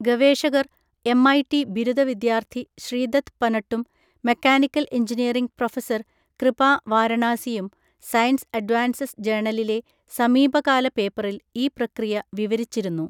ഗവേഷകർ എംഐടി ബിരുദ വിദ്യാർത്ഥി ശ്രീദത്ത് പനട്ടും മെക്കാനിക്കൽ എഞ്ചിനീയറിംഗ് പ്രൊഫസർ കൃപാ വാരണാസിയും, സയൻസ് അഡ്വാൻസസ് ജേണലിലെ സമീപകാല പേപ്പറിൽ ഈ പ്രക്രിയ വിവരിച്ചിരുന്നു.